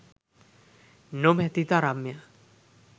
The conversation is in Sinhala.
නොමැති තරම් ය.